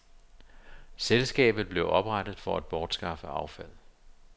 Selskabet blev oprettet for at bortskaffe affald.